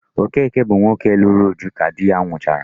Okeke bụ nwoke lụrụ Uju ka di ya nwụrụchara.